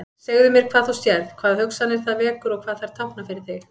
Segðu mér hvað þú sérð, hvaða hugsanir það vekur og hvað þær tákna fyrir þig.